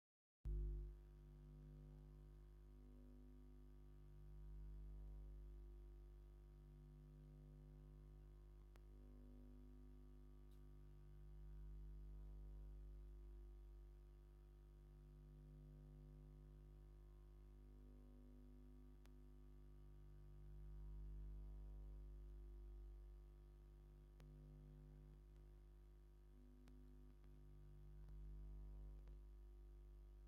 ሓደ ጸሊም ሱፍ ዝለበሰ ሰብኣይ ምስ ጕጅለ ተዋሳእቲ ተጸንቢሩ፡ምስ ስክሪፕት ዘለዎ ደርፊ ይደርፉ ወይም ይስዕስዕ ኣሎ። ብድሕሪኡ ድማ ቀይሕን ጻዕዳን ባህላዊ ኣከዳድና ዝተኸድኑ ሰባት ደድሕሪኡ ብመስርዕ ተተሓሒዞም ይስዕስዑ ኣለው። እዚ ሓጎስ ብሕውስዋስ ባህልን ንጥፈታትን ዝተመልአ ኩነታት እዩ።